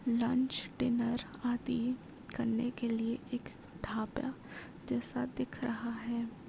Lunch dinner party करने के लिए एक ढाबा जैसा दिख रहा है।